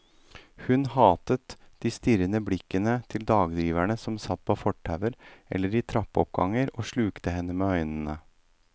Hun hatet de strirrende blikkende til dagdriverne som satt på fortauer eller i trappeoppganger og slukte henne med øynene.